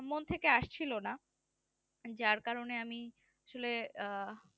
মন থেকে আসছিলো না যার কারণে আমি আসলে আঃ